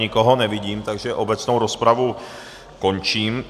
Nikoho nevidím, takže obecnou rozpravu končím.